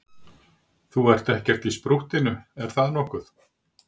Þú ert ekkert í sprúttinu, er það nokkuð?